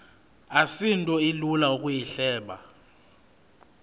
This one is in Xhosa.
asinto ilula ukuyihleba